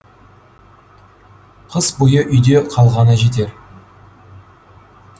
қыс бойы үйде қалғаны жетер